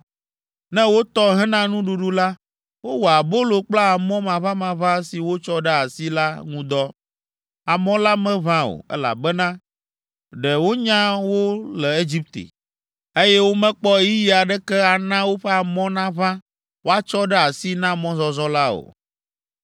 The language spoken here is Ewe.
Ne wotɔ hena nuɖuɖu la, wowɔa abolo kple amɔ maʋamaʋã si wotsɔ ɖe asi la ŋu dɔ. Amɔ la meʋã o, elabena ɖe wonya wo le Egipte, eye womekpɔ ɣeyiɣi aɖeke ana woƒe amɔ naʋã woatsɔ ɖe asi na mɔzɔzɔ la o.